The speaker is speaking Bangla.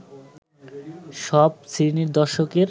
সব শ্রেণীর দর্শকের